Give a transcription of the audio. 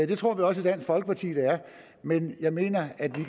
det tror vi også i dansk folkeparti men jeg mener at vi